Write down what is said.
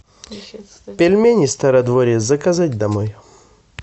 пельмени стародворье заказать домой